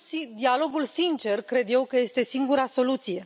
Dialogul sincer, cred eu, că este singura soluție.